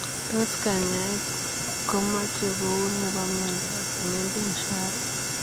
Tos kanyaet komechee kouy nepoo miondop Mendenhall?